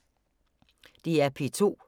DR P2